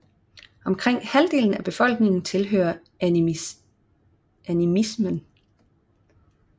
Omkring halvdelen af befolkningen tilhører animismen